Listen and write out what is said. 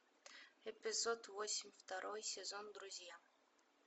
эпизод восемь второй сезон друзья